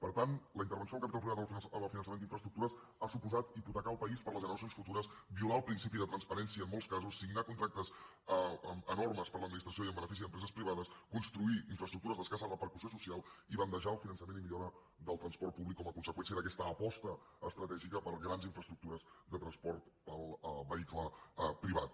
per tant la intervenció del capital privat en el finançament d’infraestructures ha suposat hipotecar el país per a les generacions futures violar el principi de transparència en molts casos signar contractes enormes per l’administració i en benefici d’empreses privades construir infraestructures d’escassa repercussió social i bandejar el finançament i millora del transport públic com a conseqüència d’aquesta aposta estratègica per grans infraestructures de transport en vehicle privat